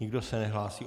Nikdo se nehlásí.